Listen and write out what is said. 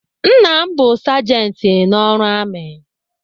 Nna m bụ sajenti n'ọrụ amị.